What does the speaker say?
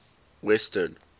western